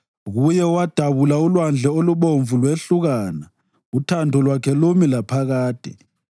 Kuye owadabula uLwandle oluBomvu lwehlukana, uthando lwakhe lumi laphakade.